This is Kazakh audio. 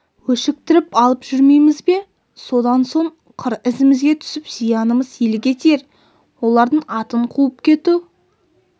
өшіктіріп алып жүрмейміз бе содан соң қыр ізімізге түсіп зиянымыз елге тиер олардың атын қуып кету